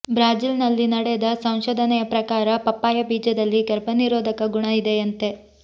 ಬ್ರಾಜಿಲ್ನಲ್ಲಿ ನಡೆದ ಸಂಶೋಧನೆಯ ಪ್ರಕಾರ ಪಪ್ಪಾಯ ಬೀಜದಲ್ಲಿ ಗರ್ಭನಿರೋಧಕ ಗುಣ ಇದೆಯಂತೆ